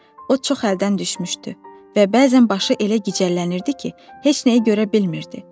O çox əldən düşmüşdü və bəzən başı elə gicəllənirdi ki, heç nəyi görə bilmirdi.